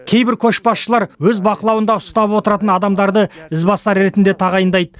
кейбір көшбасшылар өз бақылауында ұстап отыратын адамдарды ізбасар ретінде тағайындайды